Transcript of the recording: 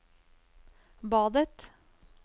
badet